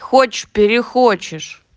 хочешь перехочешь